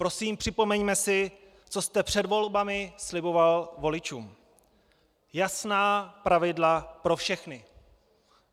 Prosím, připomeňme si, co jste před volbami sliboval voličům: Jasná pravidla pro všechny.